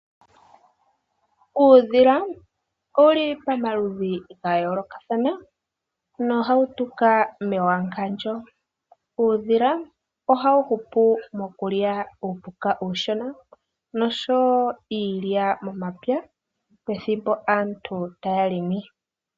Uudhila owuli pamaludhi ga yoolokathana nohawu tuka mewangandjo. Uudhila ohawu hupu mokulya uupuka uushona noshowo iilya momapya, pethimbo aantu taya longo.